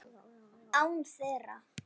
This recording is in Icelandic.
Án þeirra.